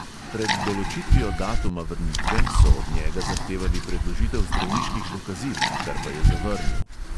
Pred določitvijo datuma vrnitve so od njega zahtevali predložitev zdravniških dokazil, kar pa je zavrnil.